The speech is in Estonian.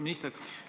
Austatud minister!